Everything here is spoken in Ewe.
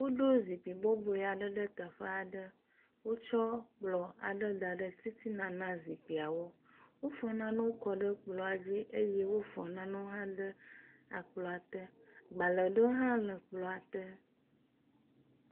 Woɖo zikpui bɔbɔe aɖe ɖe teƒe aɖe. Wotsɔ kplɔ aɖe da ɖe titin ana zikpuiawo. Wofɔ nanewo kɔ e kplɔ dzi eye wofɔ nanewo hã kɔ ɖe kplɔa te. Gbale aɖewo hã le kplɔa te.